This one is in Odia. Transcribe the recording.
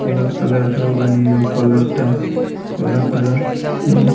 କଳା କଲର ର ବାଇକ ର କଲର ଟା କଳା କଲର ର --